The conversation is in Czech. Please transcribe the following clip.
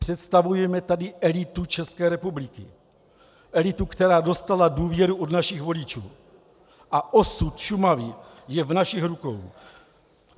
Představujeme tady elitu České republiky, elitu, která dostala důvěru od našich voličů, a osud Šumavy je v našich rukou.